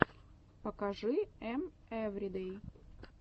покажи эм эвридэй